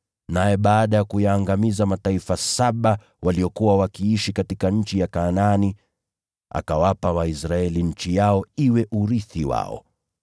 Naye baada ya kuyaangamiza mataifa saba waliokuwa wakiishi katika nchi ya Kanaani, akawapa Waisraeli nchi yao iwe urithi wao.